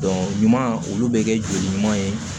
ɲuman olu bɛ kɛ joli ɲuman ye